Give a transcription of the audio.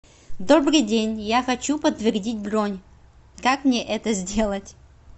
добрый день я хочу подтвердить бронь как мне это сделать